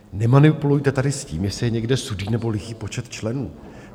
Nemanipulujte tady s tím, jestli je někde sudý, nebo lichý počet členů.